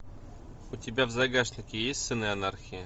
у тебя в загашнике есть сыны анархии